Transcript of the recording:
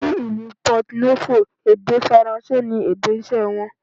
Ni ìlú Pọto Nófò, èdè Faransé ni èdè iṣẹ́ wọn.